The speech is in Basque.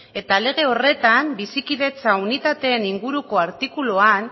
eta lege horretan bizikidetza unitateen inguruko artikuluan